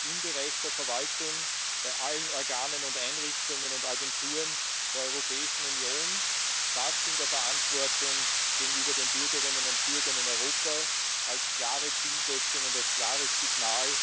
im Bereich der Verwaltung bei allen Organen, Einrichtungen und Agenturen der Europäischen Union in der Verantwortung gegenüber den Bürgerinnen und Bürgern in Europa als klare Zielsetzung und als klares Signal